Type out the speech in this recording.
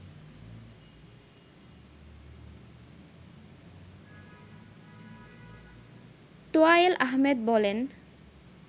তোয়ায়েল আহমেদ বলেন